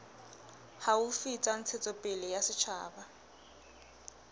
haufi tsa ntshetsopele ya setjhaba